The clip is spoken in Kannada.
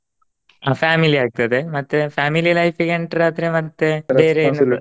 Family ಆಗ್ತದೆ ಮತ್ತೆ family life ಇಗ್ entry ಆದ್ರೆ ಮತ್ತೆ ಬೇರೆ .